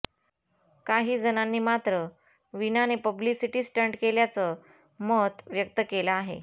काही जणांनी मात्र वीणाने पब्लिसिटी स्टंट केल्याचं मत व्यक्त केलं आहे